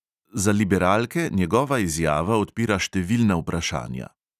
Za liberalke njegova izjava odpira številna vprašanja.